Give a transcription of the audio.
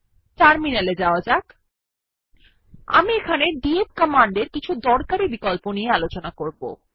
terminal এ যাওয়া যাক আমি এখানে ডিএফ কমান্ডের কিছু দরকারী বিকল্প দেখাবো